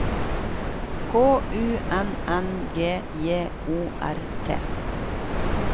K U N N G J O R T